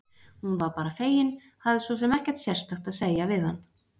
Hún var bara fegin, hafði svo sem ekkert sérstakt að segja við hann.